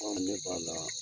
N k'a ma